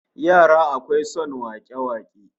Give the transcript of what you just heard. Yara akwai son wake-wake